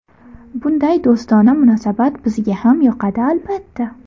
Bunday do‘stona munosabat bizga ham yoqadi, albatta.